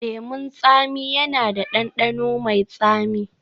Lemun tsami yana da ɗanɗano mai tsami